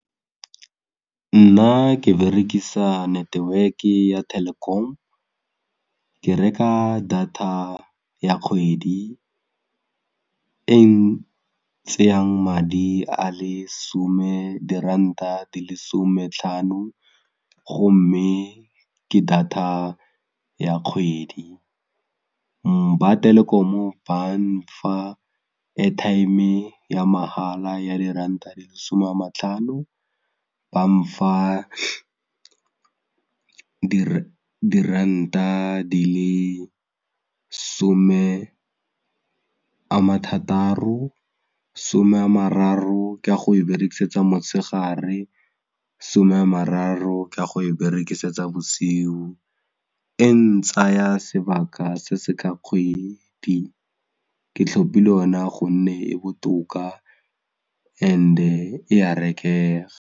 Nna ke berekisa network-e ya Telkom, ke reka data ya kgwedi e tseyang diranta di le 'some tlhano gomme ke data ya kgwedi, ba Telkom ba nfa airtime ya mahala ya diranta di le masome a ma tlhano ba nfa diranta di le some a ma thataro 'some a mararo ke a go e berekisetsa motshegare, 'some ya mararo ke a go e berekisetsa bosigo e ntsaya sebaka se se ka kgwedi ke tlhopile yona gonne e botoka and-e e a rekega.